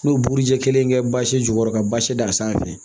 N'o buruji kelen kɛ basi jukɔrɔ ka basi da a sanfɛ